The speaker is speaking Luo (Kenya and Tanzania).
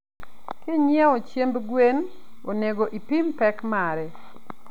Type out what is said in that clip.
Kinyeo chiemb gwen onego ipim pek mare